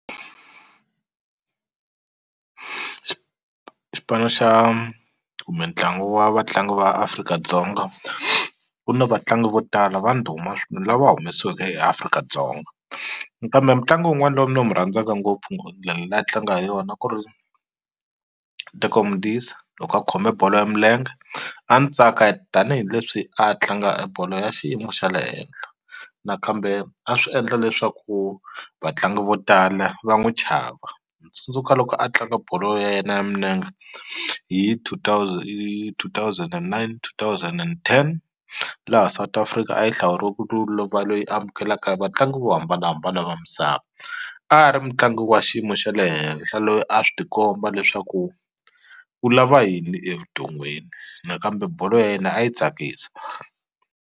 xipano xa kumbe ntlangu wa vatlangi va Afrika-Dzonga ku na vatlangi vo tala va ndhuma lava humesiweke eAfrika-Dzonga kambe mutlangi wun'wani lowu ni mu rhandzaka ngopfu ndlela leyi a tlanga hi yona ku ri Teko Modise loko a khome bolo ya milenge a ni tsaka tanihileswi a tlanga bolo ya xiyimo xa le henhla nakambe a swi endla leswaku vatlangi vo tala va n'wi chava ni tsundzuka loko a tlanga bolo ya yena ya minenge hi two thousand hi two thousand and nine two thousand and ten laha South Africa a yi hlawuriwe ku loyi amukelaka hi vatlangi vo hambanahambana va misava a ri mutlangi wa xiyimo xa le henhla loyi a swi ti komba leswaku u lava yini evuton'wini nakambe bolo ya yena a yi tsakisa.